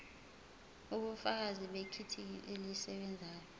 ubufakazi bethikithi elisebenzayo